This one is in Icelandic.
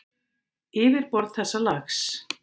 Yfirborð þessa lags